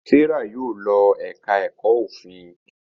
Serah Yóò ló èka èko òfin.